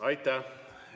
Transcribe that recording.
Aitäh!